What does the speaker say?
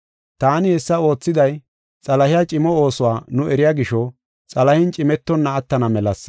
Taani hessa oothiday Xalahiya cimo oosuwa nu eriya gisho, xalahen cimetonna attana melasa.